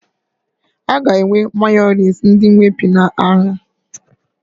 Aga enwe Mayọnais ndị Whippy na ahịa